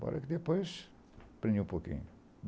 Bora que depois aprendi um pouquinho.